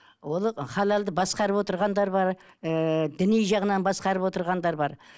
ол халалды басқарып отырғандар бар ыыы діни жағынан басқарып отырғандар бар